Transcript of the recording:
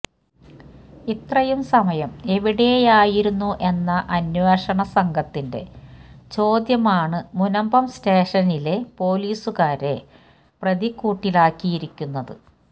ഇത്രയും സമയം എവിടെയായിരുന്നു എന്ന അന്വേഷണ സംഘത്തിന്റെ ചോദ്യമാണ് മുനമ്പം സ്റ്റേഷനിലെ പോലീസുകാരെ പ്രതിക്കൂട്ടിലാക്കിയിരിക്കുന്നത്